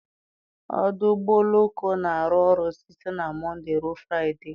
Ọdụ ụgbọ oloko na-arụ ọrụ site na Mọnde ruo Fraịde